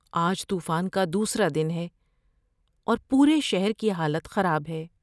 آج طوفان کا دوسرا دن ہے، اور پورے شہر کی حالت خراب ہے۔